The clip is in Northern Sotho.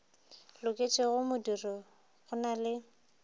loketšego modiro go na le